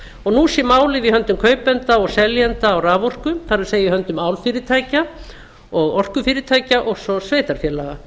og nú sé málið í höndum kaupenda og seljenda á raforku það er í höndum álfyrirtækja og orkufyrirtækja og svo sveitarfélaga